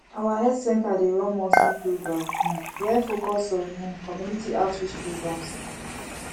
our health center dey run monthly program um wey focus on um community outreach programs